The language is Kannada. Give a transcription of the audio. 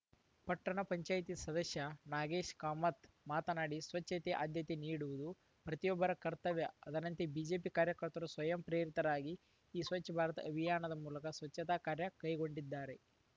ಪಟ್ಟಣ ಪಂಚಾಯಿತಿ ಸದಸ್ಯ ನಾಗೇಶ್‌ ಕಾಮತ್‌ ಮಾತನಾಡಿ ಸ್ವಚ್ಛತೆ ಆದ್ಯತೆ ನೀಡುವುದು ಪ್ರತಿಯೊಬ್ಬರ ಕರ್ತವ್ಯಅದರಂತೆ ಬಿಜೆಪಿ ಕಾರ್ಯಕರ್ತರು ಸ್ವಯಂ ಪ್ರೇರಿತರಾಗಿ ಈ ಸ್ವಚ್ಛ ಭಾರತ್‌ ಅಭಿಯಾನದ ಮೂಲಕ ಸ್ವಚ್ಛತಾ ಕಾರ್ಯ ಕೈಗೊಂಡಿದ್ದಾರೆ